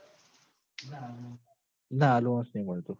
ના allowance નહીં મળતું